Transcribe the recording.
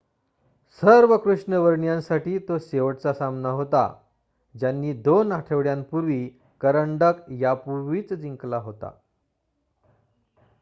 सर्व कृष्णवर्णियांसाठी तो शेवटचा सामना होता ज्यांनी दोन आठवड्यांपूर्वी करंडक यापूर्वीच जिंकला होता